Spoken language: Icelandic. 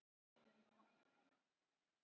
Angelíka, hversu margir dagar fram að næsta fríi?